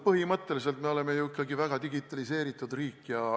Põhimõtteliselt me oleme ju ikkagi väga digitaliseeritud riik.